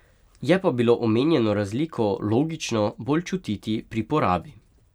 Je pa bilo omenjeno razliko, logično, bolj čutiti pri porabi.